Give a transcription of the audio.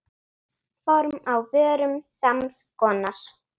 Form á vörum sams konar.